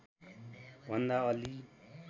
भन्दा अलि